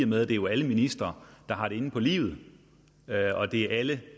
med at det jo er alle ministre der har den inde på livet og det er alle